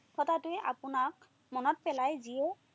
হঠাতে আপোনাক মনত পেলাই দিয়ে